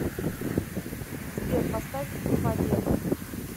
сбер поставь фадед